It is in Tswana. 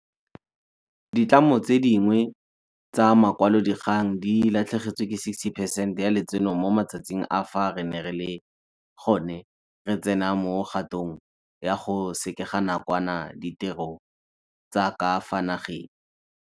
Ditlamo tse dingwe tsa makwalodikgang di latlhegetswe ke 60 percent ya letseno mo matsatsing a fa re ne re le gone re tsena mo kgatong ya go sekega nakwana ditiro tsa ka fa nageng.